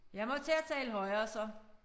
Jeg må til at tale højere så